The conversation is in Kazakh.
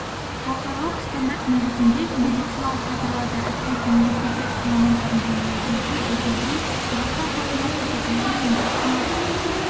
халықаралық стандарт негізінде медициналық кадрларды әсіресе мейірбике ісі мамандарын даярлау жүйесін жетілдіру қазақстан халқына көрсетілетін медициналық